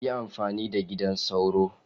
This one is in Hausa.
Yi amfani da gidan sauro!